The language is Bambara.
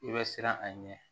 I bɛ siran a ɲɛ